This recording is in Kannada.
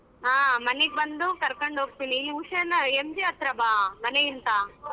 ಹ ಮನೆಗ ಬಂದು ಕರಕೊಂಡು ಹೋಗ್ತೀನಿ MG ಹತ್ರ ಬಾ ಮನೆಯಿಂದ.